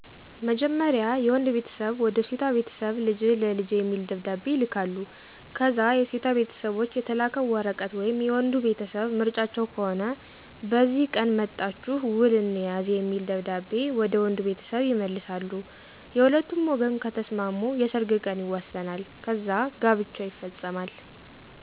መጀመርያ የወንድ ቤተሰብ ወደ ሴቷ ቤተሰብ ልጅህን ለልጀ የሚል ደብደቤ ይልካሉ ከዛ የሴቷ ቤተሰቦች የተላከው ወረቀት/የወንዱ ቤተሰብ ምርጫቸው ከሆነ በዚህ ቀን መጠቻሁ ውል እንያዝ የሚል ደብደቤ ወደ ወንዱ ቤተሰብ የመልሳሉ የሁለቱም ወገን ከተሰማሙ የሰርግ ቀን ይወሰናል ከዛ ጋብቻው ይፈፀማል።